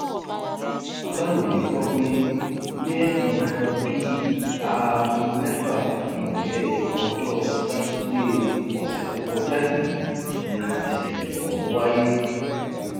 aláròye gbọ pé ní nǹkan bíi aago mẹfà ìrọlẹ ọjọ sátidée ọsẹ tó kọjá yìí ni ìṣẹlẹ ọhún wáyé